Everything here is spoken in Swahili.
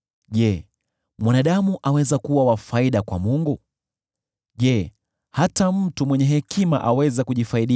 “Je, mwanadamu aweza kuwa wa faida kwa Mungu? Je, hata mtu mwenye hekima aweza kumfaidi?